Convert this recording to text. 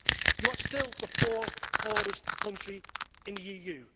You are still the fourth poorest country in the EU.